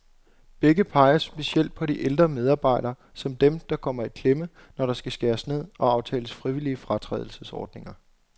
Begge peger specielt på de ældre medarbejdere, som dem, der kommer i klemme, når der skal skæres ned og aftales frivillige fratrædelsesordninger.